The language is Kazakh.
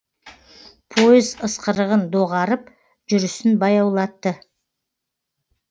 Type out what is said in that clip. пойыз ысқырығын доғарып жүрісін баяулатты